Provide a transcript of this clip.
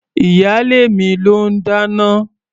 Ìyálé mi ló ń dáná.